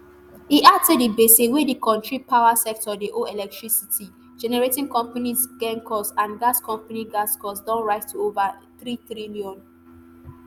e add say di gbese wey di kontri power sector dey owe electricity generating companies gencos and gas companies gascos don rise to ova nthreetrillion